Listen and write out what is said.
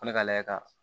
Ko ne ka lajɛ ka